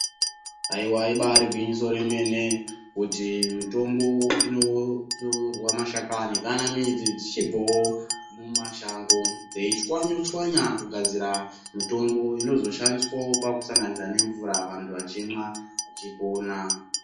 Haiwa ibari gwinyiso remene kuti mutombo inotorwa mashakani kana midzi dzichibvawo mumashango veichwanyachwanya mutombo inozoshandiswa pakusanganisa nemvura vantu vachimwa vachipona.